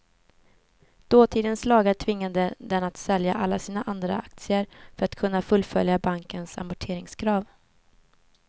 Dåtidens lagar tvingade dem att sälja alla sina andra aktier för att kunna fullfölja bankernas amorteringskrav.